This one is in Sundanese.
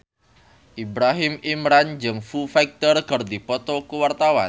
Ibrahim Imran jeung Foo Fighter keur dipoto ku wartawan